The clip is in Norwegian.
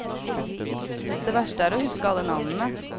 Det verste er å huske alle navnene.